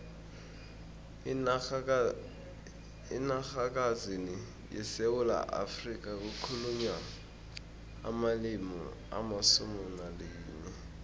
enarhakazini yesewula afrika kukhulunywa amalimi alisumu nalinye